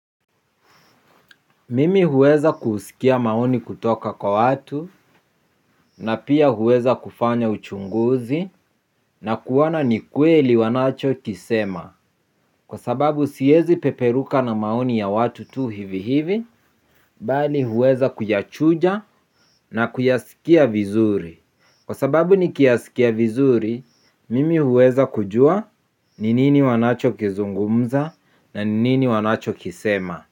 Mimi huweza kusikia maoni kutoka kwa watu, na pia huweza kufanya uchunguzi na kuona ni kweli wanachokisema. Kwa sababu siwezi peperuka na maoni ya watu tu hivi hivi mbali huweza kuyachunja na kuyasikia vizuri. Kwa sababu nikiyasikia vizuri, mimi huweza kujua ni nini wanachokizungumza na ni nini wanachokisema.